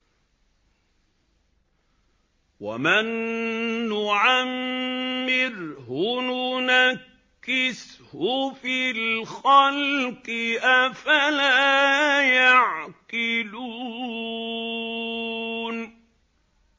وَمَن نُّعَمِّرْهُ نُنَكِّسْهُ فِي الْخَلْقِ ۖ أَفَلَا يَعْقِلُونَ